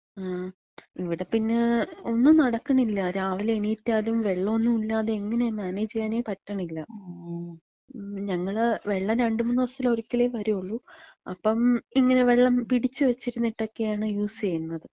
ങാ, ഇവിടെ പിന്നെ ഒന്നും നടക്കണില്ല. രാവിലെ എണീറ്റാലും വെള്ളോന്നും ഇല്ലാതെ എങ്ങന മാനേജ് ചെയ്യാനേ പറ്റണില്ല. ഞങ്ങള്, വെള്ളം രണ്ട്മൂന്ന് ദിവസത്തിലൊരിക്കലേ വരൂള്ളൂ, അപ്പം ഇങ്ങനെ വെള്ളം പിടിച്ച് വെച്ചിര്ന്ന്ട്ടൊക്കെയാണ് യൂസ് ചെയ്യുന്നത്.